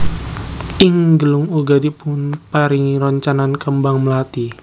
Ing gelung uga dipunparingi roncenan kembang mlathi